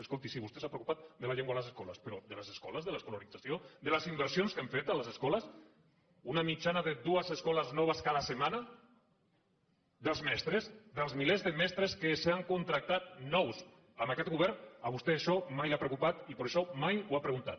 escolti sí vostè s’ha preocupat de la llengua a les escoles però de les escoles de l’escolarització de les inversions que hem fet a les escoles una mitjana de dues escoles noves cada setmana dels mestres dels milers de mestres que s’han contractat nous amb aquest govern a vostè això mai no l’ha preocupat i per això mai ho ha preguntat